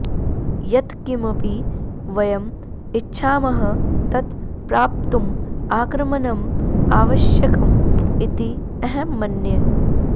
यत् किमपि वयम् इच्छामः तत् प्राप्तुम् आक्रमणम् आवश्यकम् इति अहं मन्ये